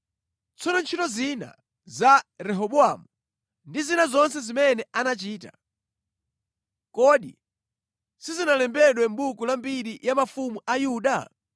Tsono ntchito zina za Rehobowamu ndi zina zonse zimene anachita, kodi sizinalembedwe mʼbuku la mbiri ya mafumu a Yuda?